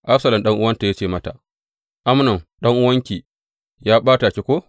Absalom ɗan’uwanta ya ce mata, Amnon, ɗan’uwanki ya ɓata ki ko?